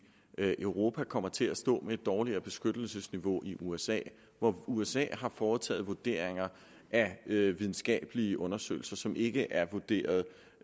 europa kommer til at stå med et dårligere beskyttelsesniveau end usa hvor usa har foretaget vurdering af videnskabelige undersøgelser som ikke er vurderet